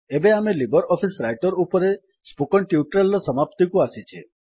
ଏବେ ଆମେ LibreOffice Writer ଉପରେ ସ୍ପୋକେନ୍ ଟ୍ୟୁଟୋରିଆଲ୍ ର ସମାପ୍ତିକୁ ଆସିଛେ